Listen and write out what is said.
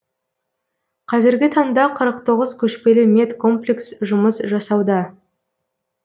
қазіргі таңда қырық тоғыз көшпелі медкомплекс жұмыс жасауда